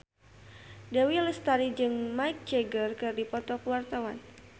Dewi Lestari jeung Mick Jagger keur dipoto ku wartawan